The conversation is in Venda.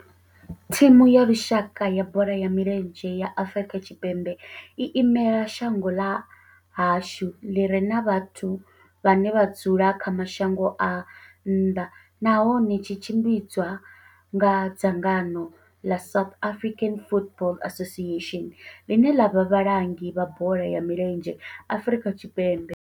Thimu ya lushaka ya bola ya milenzhe ya Afrika Tshipembe i imela shango ḽa hashu ḽi re na vhathu vhane vha dzula kha mashango a nnḓa nahone tshi tshimbidzwa nga dzangano la South African Football Association, line la vha vhalangi vha bola ya milenzhe Afrika Tshipembe.